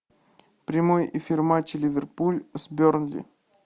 прямой эфир матча ливерпуль с бернли